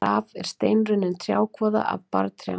Raf er steinrunnin trjákvoða af barrtrjám.